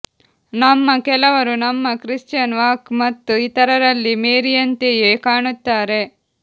ನಮ್ಮ ಕೆಲವರು ನಮ್ಮ ಕ್ರಿಶ್ಚಿಯನ್ ವಾಕ್ ಮತ್ತು ಇತರರಲ್ಲಿ ಮೇರಿಯಂತೆಯೇ ಕಾಣುತ್ತಾರೆ